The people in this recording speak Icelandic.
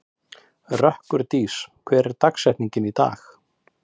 Rökkurdís, hver er dagsetningin í dag?